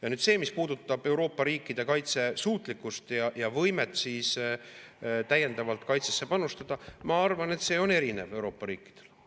Ja nüüd see, mis puudutab Euroopa riikide kaitsesuutlikkust ja võimet täiendavalt kaitsesse panustada – ma arvan, et see on Euroopa riikidel erinev.